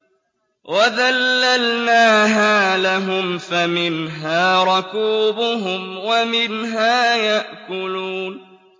وَذَلَّلْنَاهَا لَهُمْ فَمِنْهَا رَكُوبُهُمْ وَمِنْهَا يَأْكُلُونَ